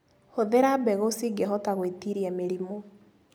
Hũthĩra mbegũ cingĩhota gwĩtiria mĩrimũ.